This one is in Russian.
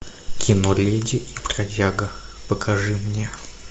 кино леди и бродяга покажи мне